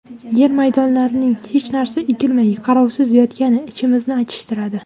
Yer maydonlarining hech narsa ekilmay, qarovsiz yotgani ichimizni achishtiradi.